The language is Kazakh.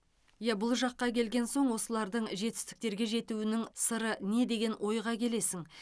иә бұл жаққа келген соң осылардың жетістіктерге жетуінің сыры не деген ойға келесің